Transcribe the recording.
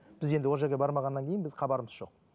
біз енді ол жерге бармағаннан кейін біз хабарымыз жоқ